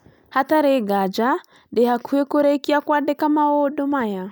Hatarĩ nganja ndĩ hakuhĩ kurikia kwandĩka maũndũ maya